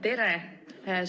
Tere!